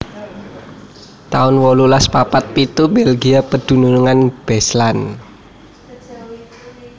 taun wolulas papat pitu Belgia pedunungan Beslan